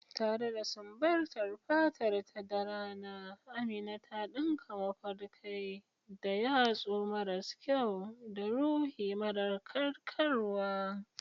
Tare da sumbatar fatarta da rana, Amina ta dinka mafarkai da yatsu maras kyau da ruhi mara karkarwa.